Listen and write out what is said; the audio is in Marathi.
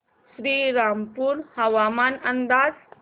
श्रीरामपूर हवामान अंदाज